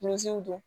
Min don